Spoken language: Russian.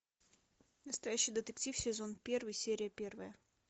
настоящий детектив сезон первый серия первая